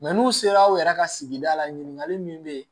n'u sera aw yɛrɛ ka sigida la ɲininkali min bɛ yen